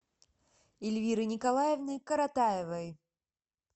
эльвиры николаевны коротаевой